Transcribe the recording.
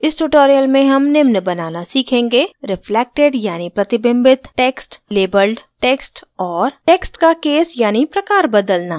इस tutorial में हम निम्न बनाना सीखेंगे रिफ्लेक्टेड यानि प्रतिबिंबित टेक्स्ट लेबल्ड टेक्स्ट और टेक्स्ट का केस यानि प्रकार बदलना